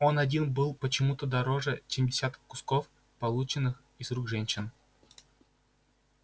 он один был почему то дороже чем десяток кусков полученных из рук женщин